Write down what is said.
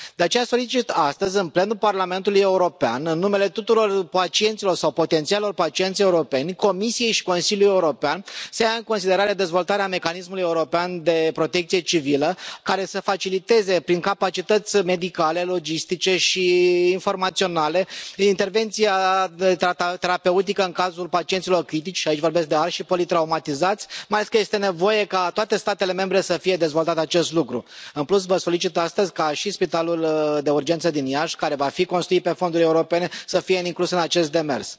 De aceea solicit astăzi, în plenul Parlamentului European, în numele tuturor pacienților sau potențialilor pacienți europeni, Comisiei și Consiliului European, să ia în considerare dezvoltarea Mecanismului european de protecție civilă, care să faciliteze, prin capacități medicale, logistice și informaționale, intervenția terapeutică în cazul pacienților critici aici vorbesc de arși și politraumatizați mai ales că este nevoie ca în toate statele membre să fie dezvoltat acest lucru. În plus, vă solicit astăzi ca și Spitalul de Urgență din Iași, care va fi construit din fonduri europene, să fie inclus în acest demers.